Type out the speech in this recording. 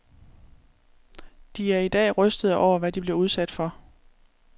De er i dag rystede over, hvad de blev udsat for.